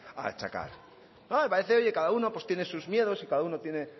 a achacar no me parece oye cada uno pues tiene sus miedos y cada uno tiene